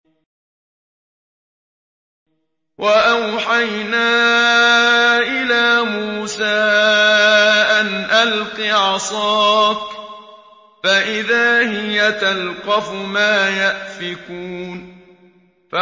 ۞ وَأَوْحَيْنَا إِلَىٰ مُوسَىٰ أَنْ أَلْقِ عَصَاكَ ۖ فَإِذَا هِيَ تَلْقَفُ مَا يَأْفِكُونَ